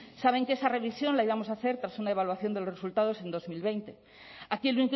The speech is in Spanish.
saben que esa revisión la íbamos a hacer tras una evaluación de los resultados en dos mil veinte aquí el